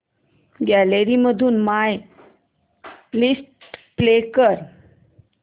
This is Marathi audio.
गॅलरी मधून माय लिस्ट प्ले कर